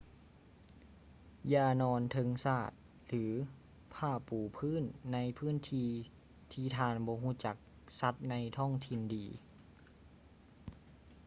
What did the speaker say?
ຢ່ານອນເທິງສາດ ຫຼື ຜ້າປູພື້ນໃນພື້ນທີ່ ທີ່ທ່ານບໍ່ຮູ້ຈັກສັດໃນທ້ອງຖິ່ນດີ